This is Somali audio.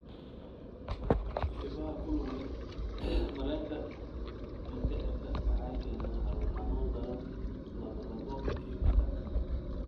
Qaybaha ku lug leh mareenka mindhicirka waxay keenaan calool xanuun daran, lallabbo, iyo matag.